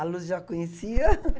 A Lourdes já conhecia.